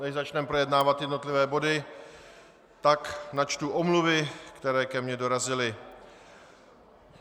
Než začneme projednávat jednotlivé body, tak načtu omluvy, které ke mně dorazily.